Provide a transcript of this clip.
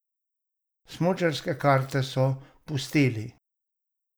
Smučarske karte pa pustili?